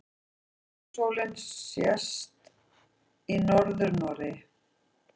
Miðnætursólin sést í Norður-Noregi.